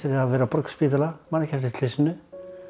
að hafa verið á Borgarspítala man ekki eftir slysinu